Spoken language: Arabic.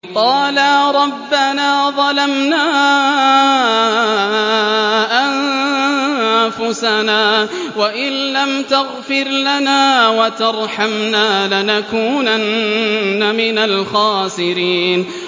قَالَا رَبَّنَا ظَلَمْنَا أَنفُسَنَا وَإِن لَّمْ تَغْفِرْ لَنَا وَتَرْحَمْنَا لَنَكُونَنَّ مِنَ الْخَاسِرِينَ